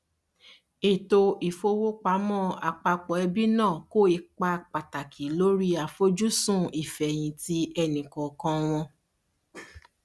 ètò ìfowópamọ àpapọ ẹbí náà kó ipa pàtàkì lórí àfojúsùn ìfẹyìntì ẹnìkọọkan wọn